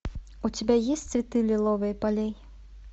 у тебя есть цветы лиловые полей